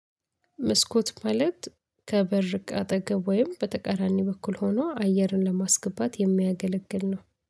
መስኮት ማለት ከበር አጠገብ ወይም በተቃራኒ በኩል ሆኖ አየርን ለማስገባት የሚያገለግል ነው